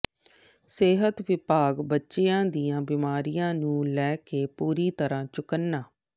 ਸਿਹਤ ਵਿਭਾਗ ਬੱਚਿਆਂ ਦੀਆਂ ਬਿਮਾਰੀਆਂ ਨੂੰ ਲੈਕੇ ਪੂਰੀ ਤਰ੍ਹਾਂ ਚੁਕੰਨਾ